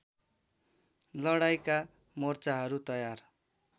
लडाईँँका मोर्चाहरू तयार